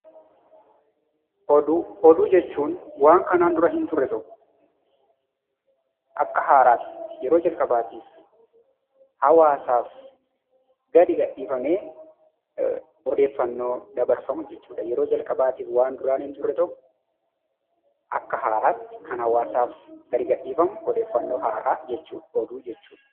Oduu jechuun waan kanaan dura hin turre tokko akka haaraatti yeroo jalqabaatiif hawaasaaf gadi gadhiifamee odeeffannoo dabarfamu jechuudha. Yeroo jalqabaatiif waan duraan hin turre tokko Akka haaraatti kan hawaasaaf gadi gadhiifamu odeeffannoo haaraa jechuudha.